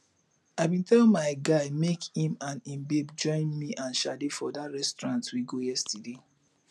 i bin tell my guy make im and im babe join me and sade for dat restaurant we go yesterday